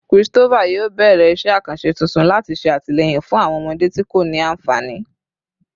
Christopher yoo bẹrẹ iṣẹ akanṣe tuntun lati ṣe atilẹyin fun awọn ọmọde ti ko ni anfani